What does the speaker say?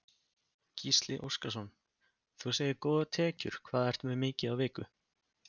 Gísli Óskarsson: Þú segir góðar tekjur, hvað ertu með mikið á viku?